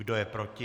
Kdo je proti?